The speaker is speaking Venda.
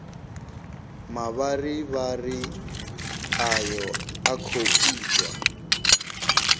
mavharivhari ayo a khou itwa